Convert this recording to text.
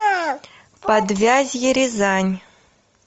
подвязье рязань